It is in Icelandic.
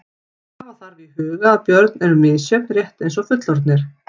Hafa þarf í huga að börn eru misjöfn rétt eins og fullorðnir.